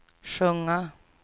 sjunga